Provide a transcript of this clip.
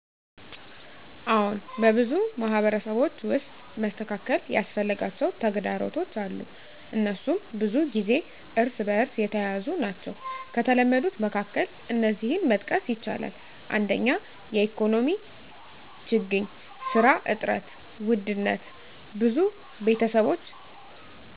አዎን፣ በብዙ ማህበረሰቦች ውስጥ መስተካከል ያስፈልጋቸው ተግዳሮቶች አሉ፤ እነሱም ብዙ ጊዜ እርስ በእርስ የተያያዙ ናቸው። ከተለመዱት መካከል እነዚህን መጥቀስ ይቻላል፦ 1) የኢኮኖሚ ችግኝ (ስራ እጥረት፣ ውድነት): ብዙ ቤተሰቦች